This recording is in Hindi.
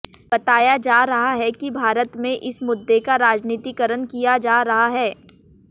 बताया जा रहा है कि भारत में इस मुद्दे का राजनीतिकरण किया जा रहा है